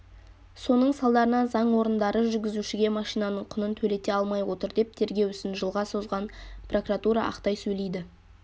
соның салдарынан заң орындары жүргізушіге машинаның құнын төлете алмай отыр деп тергеу ісін жылға созған прокуратура ақтай сөйлейді